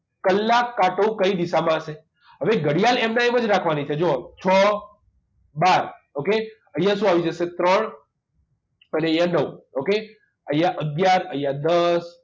કલાક કાંટો કઈ દિશામાં હશે હવે ઘડિયાળ એમના એમ જ રાખવાની છે જુઓ છ બાર okay અહીંયા શું આવી જશે ત્રણ અને અહીંયા નવ okay અહીંયા અગિયાર અહીંયા દસ